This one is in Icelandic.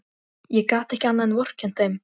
Ég gat ekki annað en vorkennt þeim.